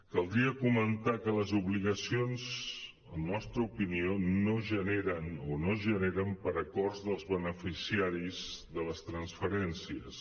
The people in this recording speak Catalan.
caldria comentar que les obligacions en la nostra opinió no es generen per acords dels beneficiaris de les transferències